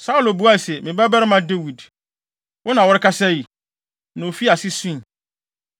Saulo buae se, “Me babarima Dawid, wo na worekasa yi?” Na ofii ase sui.